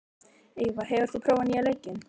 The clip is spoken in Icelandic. Eyva, hefur þú prófað nýja leikinn?